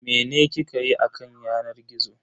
Mene kike yi a kan yanar gizo?